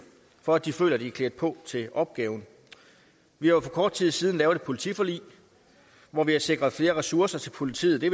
for at de føler de er klædt på til opgaven vi har for kort tid siden lavet et politiforlig hvor vi har sikret flere ressourcer til politiet det